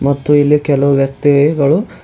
ಮತ್ತು ಇಲ್ಲಿ ಕೆಲವು ವ್ಯಕ್ತಿ ಗಳು--